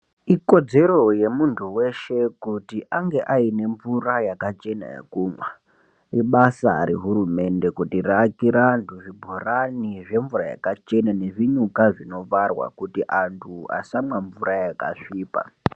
Ikodzero yemunthu weshe kuti ange ane mvura yakachena yekumwa ibasa rehurumende kutirakira anthu zvibhorani zvemvura yakachena nezvinyuka zvinokwarwa kuti anthu asamwa mvura yakasvipa.